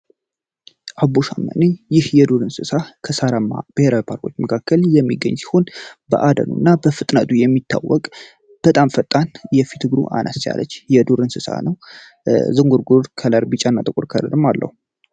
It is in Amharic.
አቦሸማኔ ይህ የዱር እንሰሳ ከሳራማ ብሔራዊ ፓርኮች መካከል የሚገኝ ሲሆን በአደን እና በፍጥነቱ የሚታወቀ በጣም ፈጣን የፊት አላስቻለች የዱር እንስሳ ነው ዝንጉርጉር ከለር ቢጫ ነጥቦች አለው የሚታወቀ ጥቁር ቀለም አለው